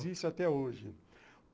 Existe até hoje.